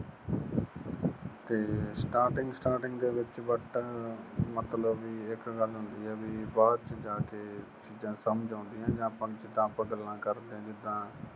ਤੇ starting starting ਦੇ ਵਿੱਚ but ਮਤਲਬ ਵੀ ਇੱਕ ਗੱਲ ਹੁੰਦੀ ਏ ਬਈ, ਬਾਅਦ ਚ ਜਾ ਕੇ ਚੀਜਾਂ ਸਮਝ ਆਉਂਦੀਆਂ ਜਾਂ ਆਪਾ ਜਿਦਾਂ ਆਪਾ ਗੱਲਾਂ ਕਰਦੇ ਆਂ ਜਿਦਾਂ